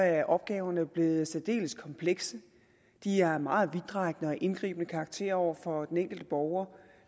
er opgaverne blevet særdeles komplekse de har en meget vidtrækkende og indgribende karakter over for den enkelte borger og